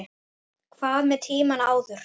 Hvað með tímann áður?